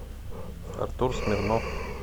артур смирнов